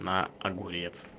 на огурец